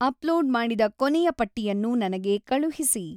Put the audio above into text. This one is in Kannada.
ಅಪ್ಲೋಡ್ ಮಾಡಿದ ಕೊನೆಯ ಪಟ್ಟಿಯನ್ನು ನನಗೆ ಕಳುಹಿಸಿ